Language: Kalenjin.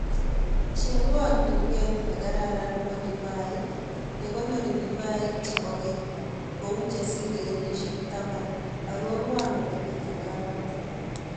Cheng'wan tuket negararan nebo divaik ne konori divaik chebo keny kou chesire kenyishek taman arorwan olemi tukanatan